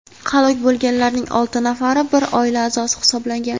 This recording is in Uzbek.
halok bo‘lganlarning olti nafari bir oila a’zosi hisoblangan.